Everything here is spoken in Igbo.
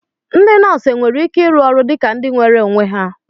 Ndị nọọsụ nwere ike ịrụ ọrụ dị ka ndị nweere onwe ha?